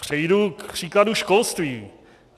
Přejdu k příkladu školství.